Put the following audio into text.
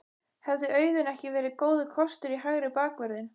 Hefði Auðun ekki verið góður kostur í hægri bakvörðinn?